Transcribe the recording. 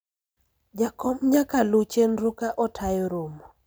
jakom nyaka luw chenro ka otayo romo